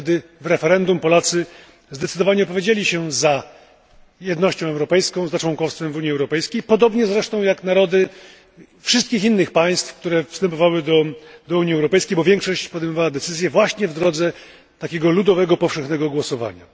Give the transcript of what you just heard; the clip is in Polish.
Wtedy w referendum Polacy zdecydowanie opowiedzieli się za jednością europejską, za członkowstwem w Unii Europejskiej, podobnie zresztą jak narody wszystkich innych państw, które przystępowały do Unii Europejskiej, bo większość podejmowała decyzje właśnie w drodze takiego ludowego powszechnego głosowania.